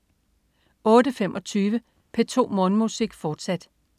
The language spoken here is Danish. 08.25 P2 Morgenmusik, fortsat